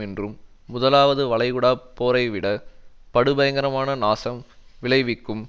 என்றும் முதலாவது வளைகுடா போரைவிட படுபயங்கரமான நாசம் விளைவிக்கும்